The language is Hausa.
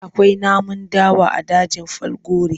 Akwai namun dawa a dajin Falgore.